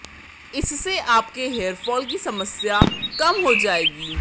इससे आपके hair fall की समस्या कम हो जाएगी